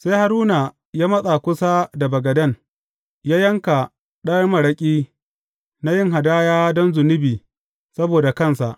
Sai Haruna ya matsa kusa da bagaden, ya yanka ɗan maraƙi na yin hadaya don zunubi saboda kansa.